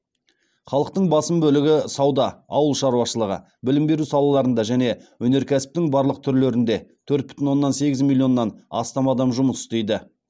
халықтың басым бөлігі сауда ауыл шаруашылығы білім беру салаларында және өнеркәсіптің барлық түрлерінде төрт бүтін оннан сегіз миллионнан астам адам жұмыс істейді